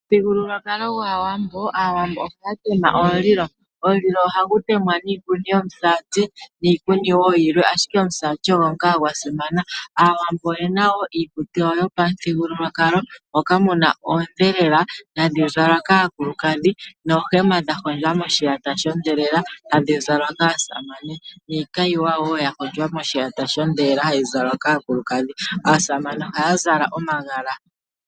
Momuthigululwakalo gaawambo aawambo ohaatema omulilo, nomulilo ohagu temwa niikuni yomusati niikuni woo yomiti dhimwe, ashike omusati ogo ngaa gwasimana. Aawambo oyena woo iikutu yawo yopamuthigululwakalo moka muna oondhelela ndhoka hadhi zalwa kaakulukadhi noohema dha hondjwa moshiyata sho ndhelela ndhoka hadhi zalwa kaasamane, niikayiwa woo yahondjwa moshiyata sho ndhelela ndjoka hayi zalwa komitse dhaakulukadhi naasamane ohaa zala omagala komitse.